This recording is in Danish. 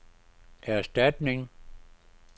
erstatning